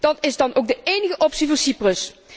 Dat is dan ook de enige optie voor Cyprus.